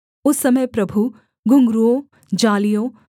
उस समय प्रभु घुँघरूओं जालियों